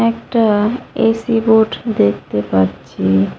একটা AC board দেখতে পাচ্ছি।